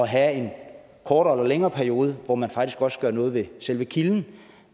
have en kortere eller længere periode hvor man faktisk også gør noget ved selve kilden